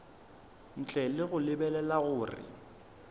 ntle le go lebelela gore